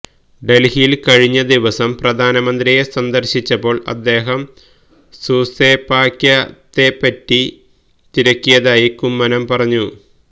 ദല്ഹിയില് കഴിഞ്ഞ ദിവസം പ്രധാനമന്ത്രിയെ സന്ദർശിച്ചപ്പോൾ അദ്ദേഹം സൂസെപാക്യത്തെ പറ്റി തിരക്കിയതായി കുമ്മനം പറഞ്ഞു